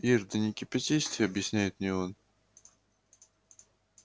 ир да не кипятись ты объясняет мне он